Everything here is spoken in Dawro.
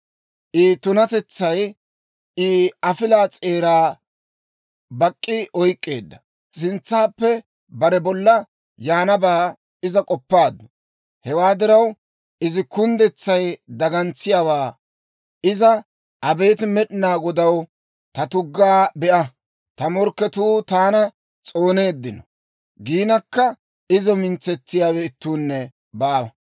I tunatetsay I afilaa s'eeraa bak'k'i oyk'k'eedda. Sintsappe bare bolla yaanabaa iza k'oppabeykku. Hewaa diraw, izi kunddetsay dagantsiyaawaa. Iza, «Abeet Med'inaa Godaw, ta tuggaa be'a! Ta morkketuu taana s'ooneeddino» giinakka, izo mintsetsiyaawe ittuunne baawa.